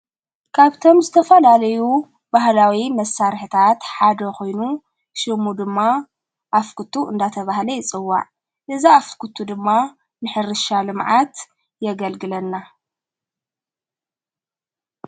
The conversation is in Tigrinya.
ካብቶም ዝተፋላለዩ ባህላዊ መሣርሕታት ሓደ ኾይኑ ሽሙ ድማ ኣፍክቱ እንዳተ ባህለ ይጽዋዕ እዛ ኣፍኲቱ ድማ ምሕርሻሊ መዓት የገልግለና።